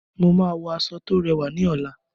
Mo máa wọ aṣọ tó rẹwà ní ọ̀la.